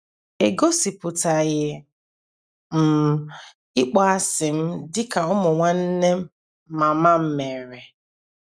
Egosipụtaghị m ịkpọasị m dị ka ụmụ nwanne mama m mere.